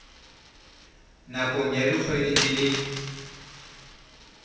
nakong ya dikgwedi di le